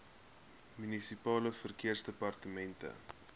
munisipale verkeersdepartemente